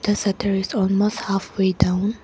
the shutter is almost half way down.